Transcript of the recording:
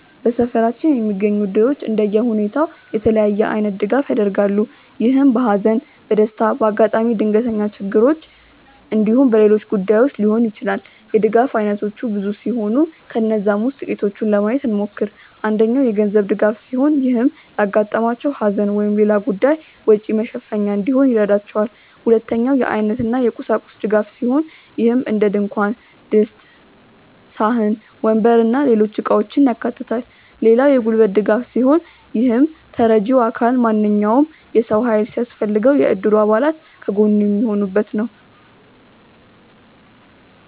በሰፈራችን የሚገኙት እድሮች እንደየሁኔታው የተለያየ አይነት ድጋፍ ያደርጋሉ። ይህም በሃዘን፣ በደስታ፣ በአጋጣሚ ድንገተኛ ችግሮች እንዲሁም በሌሎች ጉዳዮች ሊሆን ይችላል። የድጋፍ አይነቶቹ ብዙ ሲሆኑ ከነዛም ውስጥ ጥቂቱን ለማየት እንሞክር። አንደኛው የገንዘብ ድጋፍ ሲሆን ይህም ለአጋጠማቸው ሃዘን ወይም ሌላ ጉዳይ ወጪ መሸፈኛ እንዲሆን ይረዳቸዋል። ሁለተኛው የአይነት እና የቁሳቁስ ድጋፍ ሲሆን ይህም እንደድንኳን ድስት፣ ሳህን፣ ወንበር እና ሌሎች እቃውችን ያካታል። ሌላው የጉልበት ድጋፍ ሲሆን ይህም ተረጂው አካል ማንኛውም የሰው ሃይል ሲያስፈልገው የእድሩ አባል ከጎኑ የሚሆኑበት ነው።